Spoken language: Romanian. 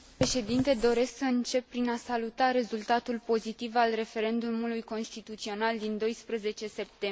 Doresc să încep prin a saluta rezultatul pozitiv al referendumului constituțional din 12 septembrie.